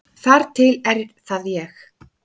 Þar til er það ég.